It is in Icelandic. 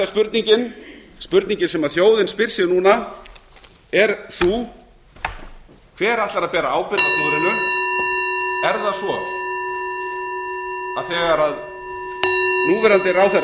spurningin spurningin sem þjóðin spyr sig núna er sú hver ætlar að bera ábyrgð á klúðrinu er það svo að þegar núverandi ráðherrar komust til valda þeir sem helst hafa gagnrýnt sem stjórnarandstæðingar ríkisstjórn